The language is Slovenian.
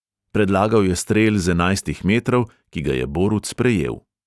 Predlagal je strel z enajstih metrov, ki ga je borut sprejel.